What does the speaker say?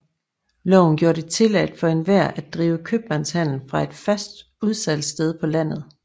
Loven gjorde det tilladt for enhver at drive købmandshandel fra et fast udsalgssted på landet